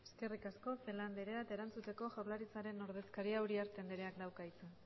eskerrik asko celaá andrea erantzuteko jaurlaritzaren ordezkaria uriarte andreak dauka hitza